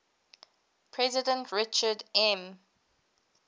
president richard m